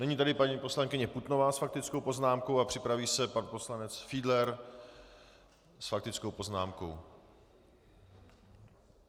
Nyní tedy paní poslankyně Putnová s faktickou poznámkou a připraví se pan poslanec Fiedler s faktickou poznámkou.